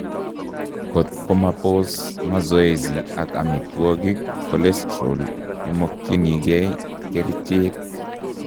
Kot komaposs masoesi ak omitwogik cholestorol imogyinikei kercheek